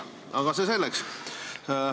Aga see selleks.